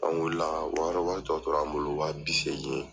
An wuli la ka wari wari tɔ tora an bolo wa bi seegi.